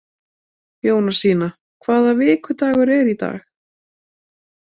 Jónasína, hvaða vikudagur er í dag?